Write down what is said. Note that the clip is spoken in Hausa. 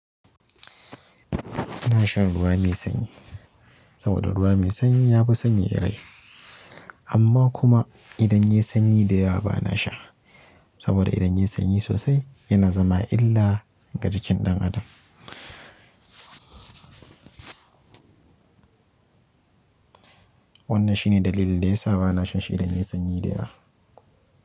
Ina shan ruwa mai sanyi saboda ruwa mai sanyi ya fi sanyaya rai. Amma kuma idan yayi sanyi da yawa bana sha saboda idan yayi sanyi sosai yana zama illa ga jikin ɗan adam. Wannan shi ne dalili da yasa bana shan shi idan yai sanyi da yawa.